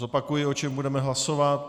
Zopakuji, o čem budeme hlasovat.